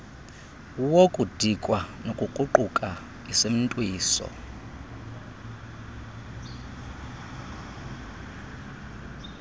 wokudikwa nokukruquka isimntwiso